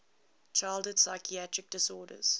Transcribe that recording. childhood psychiatric disorders